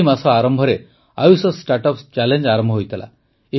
ଏହି ମାସ ଆରମ୍ଭରେ ଆୟୁଷ ଷ୍ଟାର୍ଟଅପ୍ ଚ୍ୟାଲେଞ୍ଜ୍ ଆରମ୍ଭ ହୋଇଥିଲା